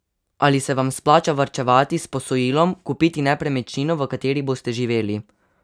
Ali se vam splača varčevati, s posojilom kupiti nepremičnino, v kateri boste živeli?